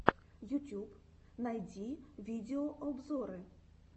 ютьюб найти видеообзоры